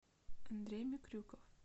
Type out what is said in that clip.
андрей микрюков